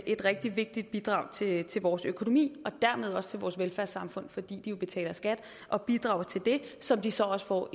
et rigtig vigtigt bidrag til til vores økonomi og dermed også til vores velfærdssamfund fordi de jo betaler skat og bidrager til det som de så også får